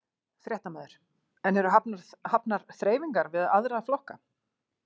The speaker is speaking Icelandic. Fréttamaður: En eru hafnar þreifingar við aðra flokka?